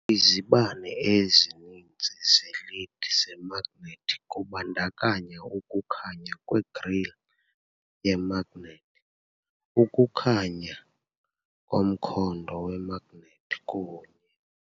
Izibane EZININZI ze-led zemagnethi kubandakanya ukukhanya kwe-grille yemagnethi, ukukhanya komkhondo wemagnethi kunye.